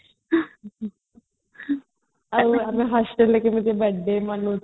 ଆଉ hostel ରେ କେମିତେ birthday ମନଉଥିଲେ